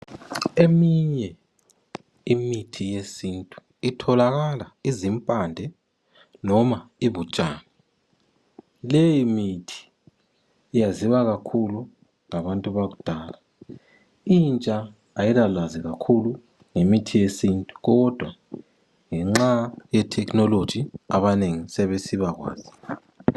Eminye imithi yesintu itholakala izimpande, noma ibutshani. Leyimithi iyaziwakakhulu ngabantu bakudala, intsha ayilalwazi kakhulu ngemithi yesintu, kodwa ngenxa yetechnology abanengi sebesibakwazi.